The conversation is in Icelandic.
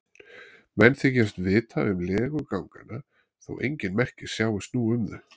Menn þykjast vita um legu ganganna þó engin merki sjáist nú um þau.